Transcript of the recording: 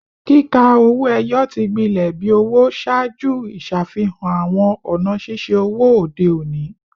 Kika owo eyo ti gbilẹ bi owo ṣaaju iṣafihan awọn ọna ṣiṣe owo ode oni